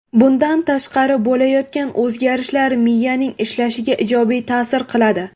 Bundan tashqari, bo‘layotgan o‘zgarishlar miyaning ishlashiga ijobiy ta’sir qiladi.